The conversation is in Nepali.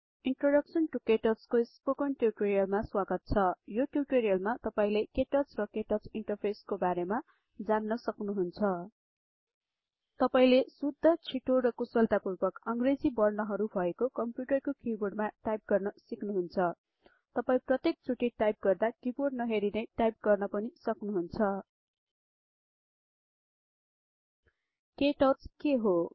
इन्ट्रोडक्सन् टू केटच को स्पोकन टिउटोरीअल मा स्वागत छ यो टिउटोरीअल मा तपाईले केटच र केटच ईन्टरफेस् को बारेमा जान्न सक्नुहुन्छ तपाईले शुद्ध छिटो र कुशलतापूर्वक अंग्रेजी वर्णहरु भएको कम्प्युटरको किबोर्डमा टाइप गर्न सिक्नुहुन्छ तपाई प्रत्येक चोटी टाइप गर्दा किबोर्ड नहेरी नै टाइप गर्न पनि सक्नुहुन्छ केटच् के हो